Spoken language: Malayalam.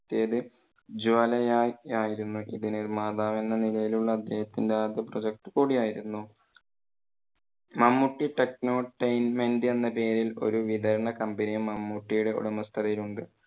ജ്വാലയായി ആയിരുന്നു ഒരു നിർമാതാവ് എന്ന നിലയിൽ ഉള്ള അദ്ദേഹത്തിന്റെ ആദ്യ പ്രൊജക്റ്റ് കൂടി ആയിരുന്നു. മമ്മൂട്ടി technotainment എന്ന പേരിൽ ഒരു വിതരണ company യും മമ്മൂട്ടിയുടെ ഉടമസ്ഥതയിൽ ഉണ്ട്.